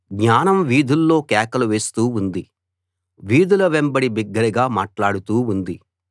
జ్ఞానం వీధుల్లో కేకలు వేస్తూ ఉంది వీధుల వెంబడి బిగ్గరగా మాట్లాడుతూ ఉంది